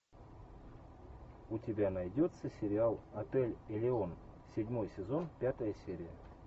у тебя найдется сериал отель элеон седьмой сезон пятая серия